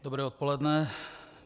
Dobré odpoledne.